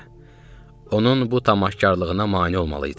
Onun bu tamaşakarlığına mane olmalıydım.